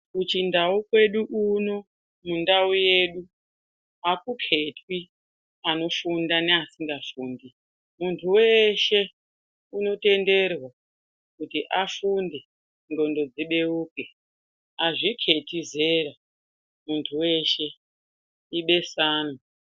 Kuchindau kwedu uno mundau yedu akuketwi anofunda neasingafundi. Muntu weshe unotenderwa kuti afunde ndxondo dzibeuke. Azviketi zera muntu weshe ibesanwa.